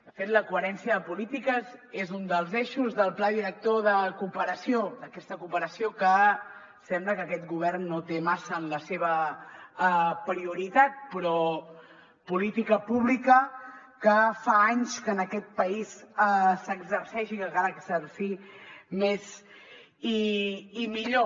de fet la coherència de polítiques és un dels eixos del pla director de cooperació d’aquesta cooperació que sembla que aquest govern no té massa en la seva prioritat però política pública que fa anys que en aquest país s’exerceix i que cal exercir més i millor